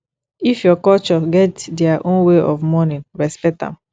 if your culture get their own way of mourning respect am